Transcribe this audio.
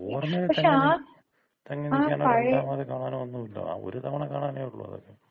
ഓർമയില് തങ്ങി തങ്ങി നിൽക്കാനോ രണ്ടാമത് കാണാണോ ഒന്നുമില്ല. ആ ഒര് തവണ കാണാനേ ഒള്ളൂ അതൊക്കെ.